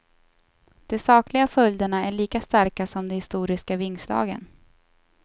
De sakliga följderna är lika starka som de historiska vingslagen.